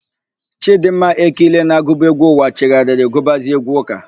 Chịdịmma Ekile na-agụbu égwú ụwa chegharịrị gụbazie égwú ụ́kà.